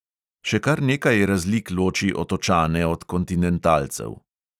Še kar nekaj razlik loči otočane od kontinentalcev.